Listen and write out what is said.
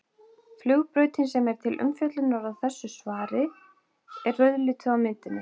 Flugbrautin sem er til umfjöllunar í þessu svari er rauðlituð á myndinni.